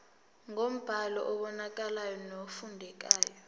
ngombhalo obonakalayo nofundekayo